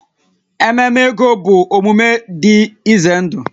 Ememe ego bụ omume dị ize ndụ